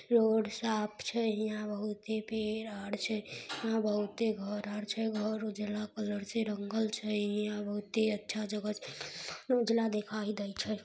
Road साफ छै हीया बहुते पेड़ आड़ छै हीया बहुते घर आर छै घर उजला कलर से रंगल छै हीया बहुते अच्छा जगह छै उजाला दिखाई दे छै।